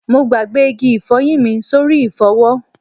Mo gbàgbé igi ifoyin mi sórí ifowo